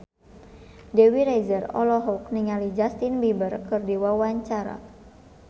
Dewi Rezer olohok ningali Justin Beiber keur diwawancara